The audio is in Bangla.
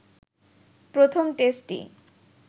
প্রথম টেস্টটি